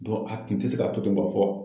a tun tɛ se ka to ten ka fɔ